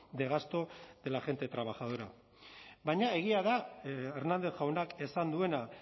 de gasto de la gente trabajadora baina egia da hernández jaunak esan duena